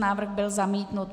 Návrh byl zamítnut.